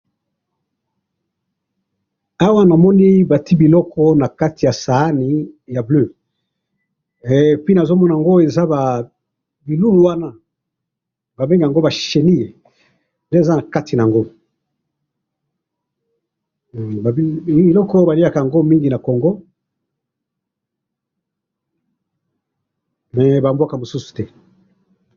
awa namoni batii biloko na kati ya sani bule et puis nazo monango eza ba chenilles nde eza na kati nango biloko oyo ba liaka ngo mingi na congo mais na mboka mususu te